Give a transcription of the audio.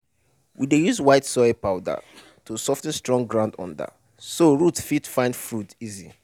we dey use white soil powder to sof ten strong ground under so root fit find food easy.